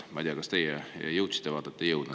Ma ei tea, kas teie jõudsite vaadata või ei jõudnud.